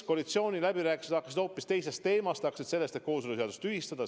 Koalitsiooniläbirääkimised hakkasid peale hoopis teisest teemast, hakkasid peale sellest, et kooseluseadus tühistada.